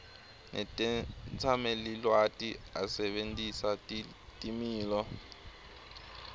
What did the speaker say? netetsamelilwati asebentisa timiso